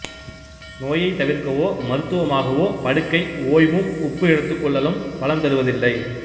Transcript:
நோயைத் தவிர்க்கவோ மருத்துவமாகவோ படுக்கை ஓய்வும் உப்பு எடுத்துகொள்ளலும் பலன் தருவதில்லை